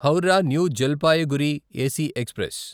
Howrah New Jalpaiguri AC express